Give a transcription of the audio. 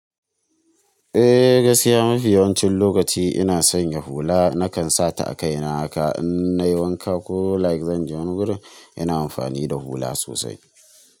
Gaskiya mafi yawancin lokaci ina sanya hula nakan sa ta a kaina haka in nayi wanka ko like zan je wani gurin ina amfani da hula sosai.